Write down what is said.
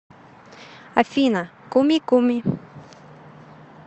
афина куми куми